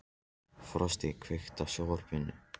Frosti, kveiktu á sjónvarpinu.